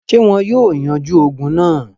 Ṣé wọn yóò yanjú ogun náà?